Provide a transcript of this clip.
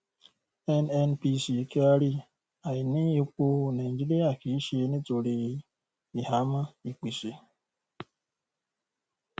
nnpc kyari: àìní epo nàìjíríà kì í ṣe nítorí ìhámọ́ ìpèsè.